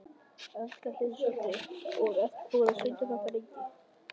Erla Hlynsdóttir: Og ertu búinn að stunda þetta lengi?